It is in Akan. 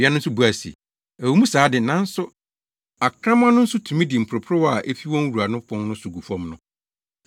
Ɔbea no nso buae se, “Ɛwɔ mu saa de, nanso akraman no nso tumi di mporoporowa a efi wɔn wura no pon so gu fam no.”